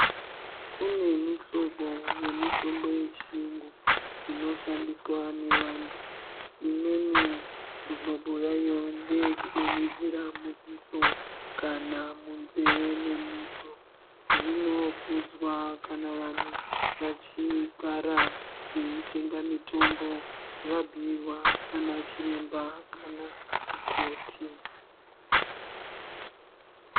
Kune mihlobo yemitombo yechiyungu inoshandiswa nevantu imweni mihlobo yayo ndeyekudonhedzera mudziso kana munzee memuntu. Zvinokudzwa kana vantu vachigara veitenga mitombo vabhuirwa nana chiremba kana mukoti.